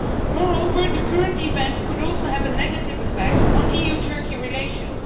Moreover, the current events could also have a negative effect on EU Turkey relations.